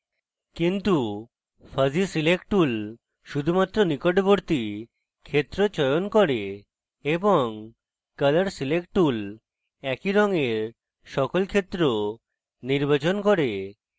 কিন্তু fuzzy select tool শুধুমাত্র নিকটবর্তী ক্ষেত্র চয়ন করে এবং colour select tool একই রঙের সকল ক্ষেত্র নির্বাচন করে